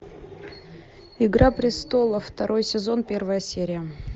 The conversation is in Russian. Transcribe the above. игра престолов второй сезон первая серия